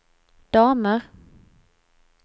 damer